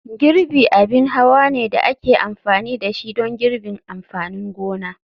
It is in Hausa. Girbi abin hawa ne da ake amfani da shi don girbin amfanin gona.